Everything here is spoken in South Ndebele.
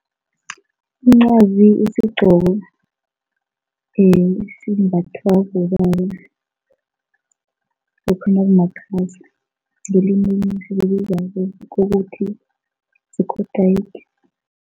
Umncwazi isigqoko esimbathwa bobaba lokha nakukhamakhaza ngelimi kokuthi sikotayiki.